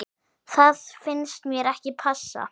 Það finnst mér ekki passa.